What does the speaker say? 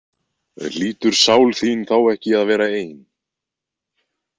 Hlýtur sál þín þá ekki að vera ein?